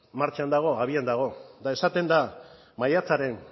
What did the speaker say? martxan dago abian dago eta esaten da maiatzaren